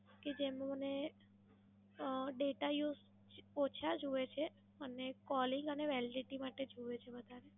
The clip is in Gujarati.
કે જેમાં મને અમ Data Use ઓછા જોઈએ છે અને Calling અને Validity માટે જોઈએ છે વધારે.